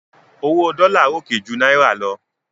Owó dollar ròkè ju náírà lọ